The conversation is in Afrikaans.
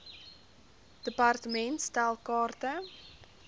department stel kaarte